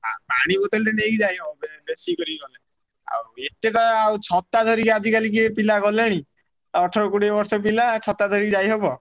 ହା ପାଣି ବୋତଲଟେ ନେଇକି ଯାଇ ହବ ବେ ବେଶୀ କରି ହବ। ଆଉ ଏତେଟା ଆଉ ଛତା ଧରିକି ଆଜି କାଲି କିଏ ପିଲା ଗଲେଣି। ଆଉ ଅଠର କୋଡିଏ ବର୍ଷ ପିଲା ଛତା ଧରିକି ଯାଇ ହବ।